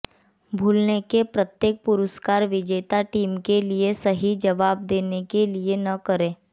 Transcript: भूलने के प्रत्येक पुरस्कार विजेता टीम के लिए सही जवाब देने के लिए न करें